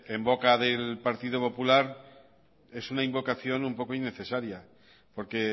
en boca del partido popular es una invocación un poco innecesaria porque